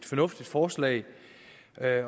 fornuftigt forslag